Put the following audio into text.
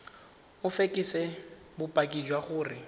o fekese bopaki jwa gore